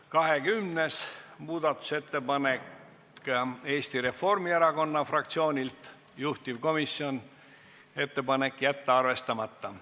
20. muudatusettepanek, Eesti Reformierakonna fraktsioonilt, juhtivkomisjon: jätta arvestamata.